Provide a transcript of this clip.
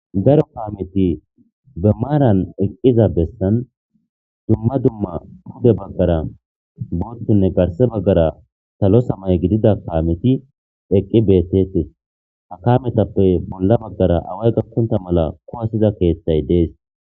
Daro kaameti besan duma duma pude bagara bothhine duge bagara salo samaye gidida kameti eqi de'etes ha kametape bolla bagara away gakonta malla kuwasiza kethay des